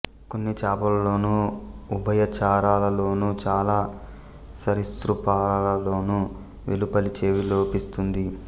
కొన్ని చేపలలోను ఉభయచరాలలోను చాలా సరీసృపాలలోను వెలుపలి చెవి లోపిస్తుంది